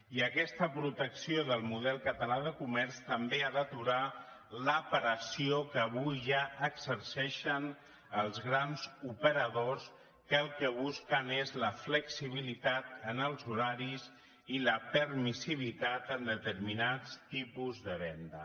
i aquesta protecció del model català de comerç també ha d’aturar la pressió que avui ja exerceixen els grans operadors que el que busquen és la flexibilitat en els horaris i la permissivitat en determinats tipus de venda